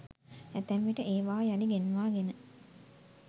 ඇතැම් විට ඒවා යළි ගෙන්වා ගෙන